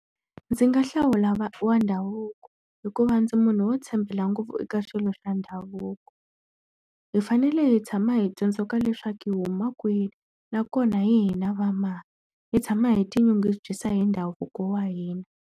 Ndzi nga hlawula wa ndhavuko hikuva ndzi munhu wo tshembela ngopfu eka swilo swa ndhavuko. Hi fanele hi tshama hi tsundzuka leswaku hi huma kwihi, nakona hi hina va mani. Hi tshama hi tinyungubyisa hi ndhavuko wa hina.